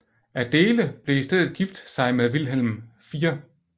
Adéle blev i stedet gift sig med Vilhelm 4